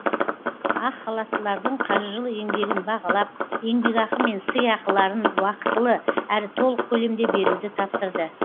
ақ халаттылардың қажырлы еңбегін бағалап еңбекақы мен сыйақыларын уақытылы әрі толық көлемде беруді тапсырды